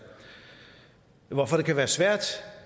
hvorfor det kan være svært